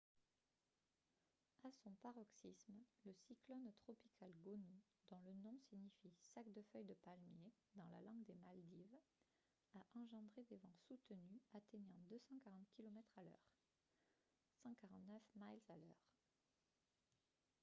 à son paroxysme le cyclone tropical gonu dont le nom signifie sac de feuilles de palmier dans la langue des maldives a engendré des vents soutenus atteignant 240 kilomètres à l'heure 149 miles à l'heure